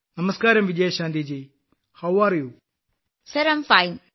നമസ്കാരം വിജയശാന്തി ജി താങ്കൾക്ക് സുഖമാണോ